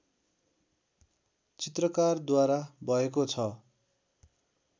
चित्रकारद्वारा भएको छ